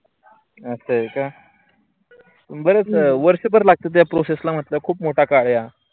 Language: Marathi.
अस होय का. बरेच वर्षं भर लागते त्या process ला खूप मोठा काळ आहे हा.